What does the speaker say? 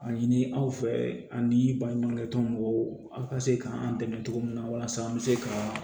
A ɲini aw fɛ ani baɲumankɛ tɔn mɔgɔw ka se k'an dɛmɛ cogo min na walasa an bɛ se ka